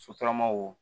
Sotaramaw